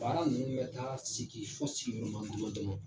Baara ninnu ka taa sigi fo